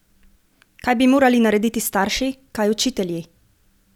Kaj bi morali narediti starši, kaj učitelji?